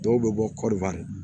Dɔw bɛ bɔ kɔɔri